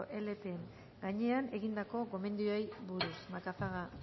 lepen gainean egindako gomendioei buruz macazaga